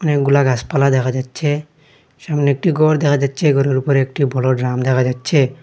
অনেকগুলা গাসপালা দেখা যাচ্ছে সামনে একটি গর দেখা যাচ্ছে গরের উপরে একটি বড় ড্রাম দেখা যাচ্ছে।